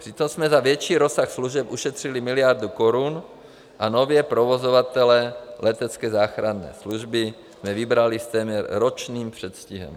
Přitom jsme za větší rozsah služeb ušetřili miliardu korun a nově provozovatele letecké záchranné služby jsme vybrali s téměř ročním předstihem.